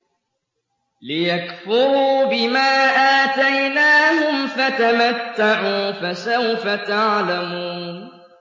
لِيَكْفُرُوا بِمَا آتَيْنَاهُمْ ۚ فَتَمَتَّعُوا فَسَوْفَ تَعْلَمُونَ